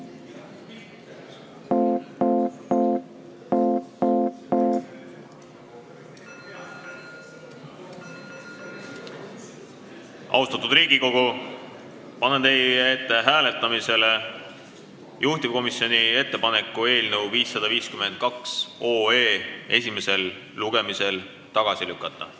Austatud Riigikogu, panen hääletusele juhtivkomisjoni ettepaneku eelnõu 552 esimesel lugemisel tagasi lükata.